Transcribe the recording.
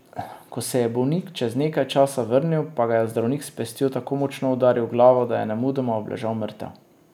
Ko se je bolnik čez nekaj časa vrnil, pa ga je zdravnik s pestjo tako močno udaril v glavo, da je nemudoma obležal mrtev.